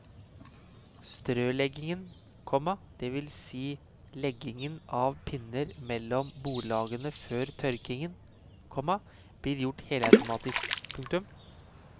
Strøleggingen, komma det vil si legging av pinner mellom bordlagene før tørkingen, komma blir gjort helautomatisk. punktum